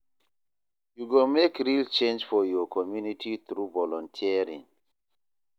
Yu go mek real change for yur community thru volunteering.